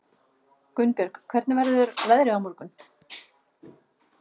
Gunnbjörg, hvernig verður veðrið á morgun?